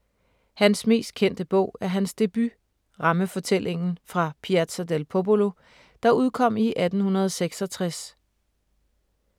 Hans mest kendte bog er hans debut, rammefortællingen ”Fra Piazza del Popolo”, der udkom i 1866.